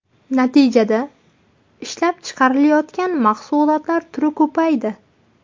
Natijada ishlab chiqarilayotgan mahsulotlar turi ko‘paydi.